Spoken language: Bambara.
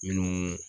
Minnu